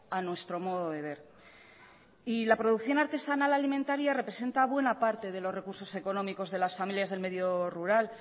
a nuestro modo de ver y la producción artesanal alimentaria representa buena parte de los recursos económicos de las familias del medio rural